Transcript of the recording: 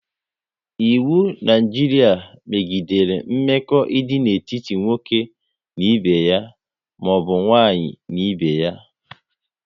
Iwu Naijiria megidere mmekọ idị n'etiti nwoke na ibe ya maọbụ nwaanyị n'ibé ya